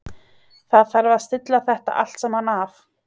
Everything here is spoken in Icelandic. Það þarf að stilla þetta allt saman af.